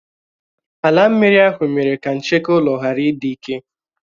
Álà mmiri ahụ mere ka ncheke ulo ghárà ịdị ike.